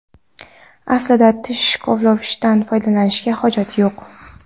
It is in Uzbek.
Aslida tish kovlagichdan foydalanishga hojat yo‘q.